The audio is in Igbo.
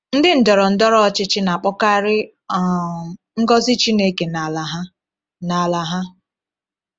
Ndị ndọrọ ndọrọ ọchịchị na-akpọkarị um ngọzi Chineke n’ala ha. n’ala ha.